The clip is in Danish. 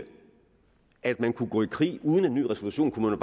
at man kunne gå i krig uden en ny resolution kunne